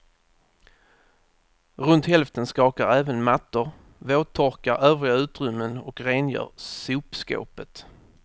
Runt hälften skakar även mattor, våttorkar övriga utrymmen och rengör sopskåpet.